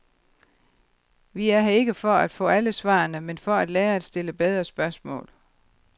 Vi er her ikke for at få alle svarene, men for at lære at stille bedre spørgsmål.